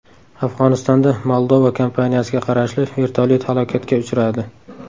Afg‘onistonda Moldova kompaniyasiga qarashli vertolyot halokatga uchradi.